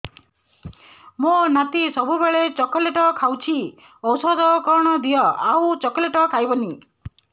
ମୋ ନାତି ସବୁବେଳେ ଚକଲେଟ ଖାଉଛି ଔଷଧ କଣ ଦିଅ ଆଉ ଚକଲେଟ ଖାଇବନି